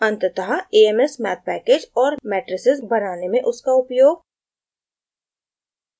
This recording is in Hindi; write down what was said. अंततः a m s math package और matrices बनाने में उसका उपयोग